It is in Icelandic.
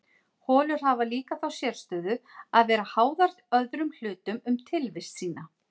holur hafa líka þá sérstöðu að vera háðar öðrum hlutum um tilvist sína